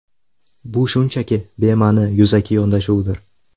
Bu shunchaki bema’ni yuzaki yondashuvdir.